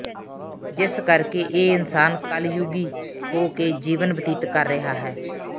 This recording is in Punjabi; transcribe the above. ਜਿਸ ਕਰਕੇ ਇਹ ਇਨਸਾਨ ਕਲਯੁਗੀ ਹੋ ਕੇ ਜੀਵਨ ਬਤੀਤ ਕਰ ਰਿਹਾ ਹੈ